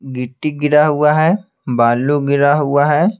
गिट्टी गिरा हुआ है बालू गिरा हुआ है।